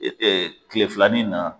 E e kile filani in na